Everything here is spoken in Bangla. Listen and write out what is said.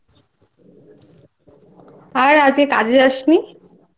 আর আজকে কাজে যাসনি?